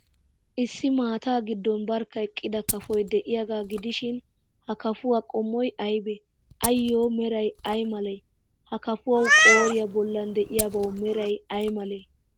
Issi maataa giddon barkka eqqida kafoy de'iyaagaa gidishin, ha lafuwaa qommoy aybee? Ayyo meray ay malee? Ha kafuwaa qooriyaa bollan de'iyaabawu meray ay malee?